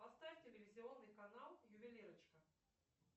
поставь телевизионный канал ювелирочка